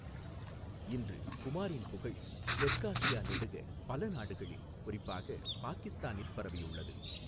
இன்று குமாரின் புகழ் தெற்காசியா நெடுக பல நாடுகளில், குறிப்பாக பாகிஸ்தானில் பரவியுள்ளது.